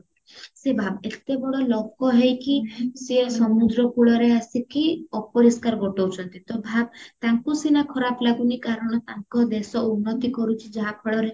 ସେ ଭାବ ଏତେ ବଡ ଲୋକ ହେଇକି ସିଏ ସମୁଦ୍ର କୂଳରେ ଆସିକି ଅପରିଷ୍କାର ଗୋଟାଉଚନ୍ତି ତ ଭାବ ତାଙ୍କୁ ସିନା ଖରାପ ଲାଗୁନି କାରଣ ତାଙ୍କ ଦେଶ ଉନ୍ନତି କରୁଛି ଯାହା ଫଳେର